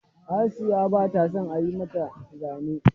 Asiya ba ta son a yi mata zane.